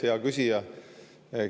Hea küsija!